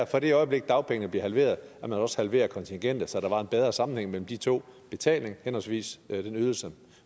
fra det øjeblik dagpengene bliver halveret også halverede kontingentet så der blev en bedre sammenhæng mellem de to betaling henholdsvis den ydelse